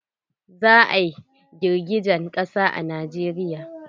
Za a yi girgijen ƙasa a Najeriya.